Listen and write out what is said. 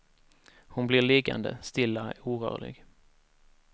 Hon blir liggande stilla, orörlig.